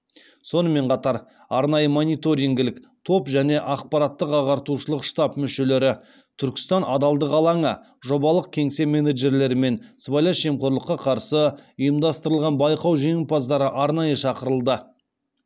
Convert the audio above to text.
сонымен қатар арнайы мониторингілік топ және ақпараттық ағартушылық штаб мүшелері түркістан адалдық алаңы жобалық кеңсе менеджерлері мен сыбайлас жемқорлыққа қарсы ұйымдастырылған байқау жеңімпаздары арнайы шақырылды